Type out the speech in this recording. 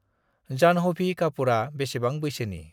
जानह'भि कापुरा बेसेबां बैसोनि?